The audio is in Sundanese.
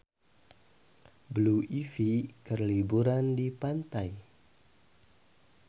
Blue Ivy keur liburan di pantai